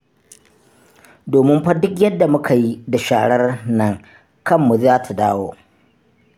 Domin fa duk yadda muka yi da sharar nan, kanmu za ta dawo.